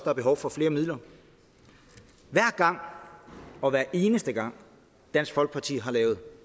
er behov for flere midler hver gang og hver eneste gang dansk folkeparti har lavet